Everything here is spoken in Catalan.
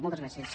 moltes gràcies